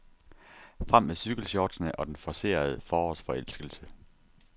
Frem med cykelshortsene og den forcerede forårsforelskelse.